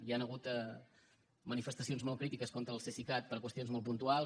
hi han hagut manifestacions molt crítiques contra el cesicat per qüestions molt puntuals